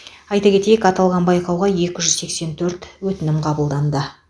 айта кетейік аталған байқауға екі жүз сексен төрт өтінім қабылданды